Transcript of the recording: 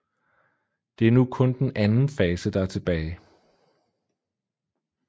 Det er nu kun den anden fase der er tilbage